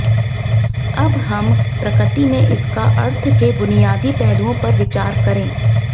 अब हम प्रकृति में इसका अर्थ के बुनियादी पहलुओं पर विचार करें